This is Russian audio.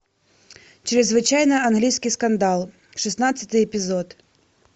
чрезвычайно английский скандал шестнадцатый эпизод